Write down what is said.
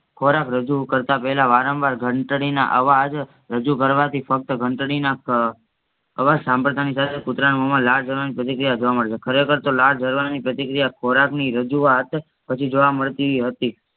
ખોરાક રજૂ કરતાપેલા વારંવાર ઘંટાળીના આવાજ રજૂ કરવાથી ફક્ત ઘંટાળીના ક અવાજ સાંભડતાનિસાથે કૂટરના મૂહમાં લાળ ઝરવાની પ્રતિક્રિયા જોવા મળશે ખરેખારતો લાળ ઝરવાની પ્રતિક્રિયા ખોરાકની રાજુવાત પછી જોવા મળતી હતી